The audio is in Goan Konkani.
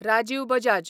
राजीव बजाज